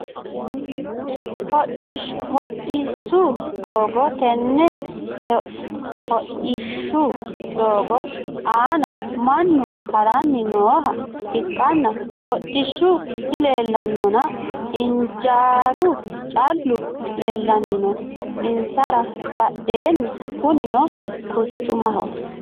Hodhdhisu doogo tene hodhishshu doogo aana mannu harani nooha ikana hodhishu dileelanonna ijaaru callu leelani no insara badheeni kunino quchumaho.